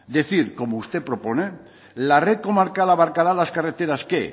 decir como usted propone la red comarcal abarcará las carreteras que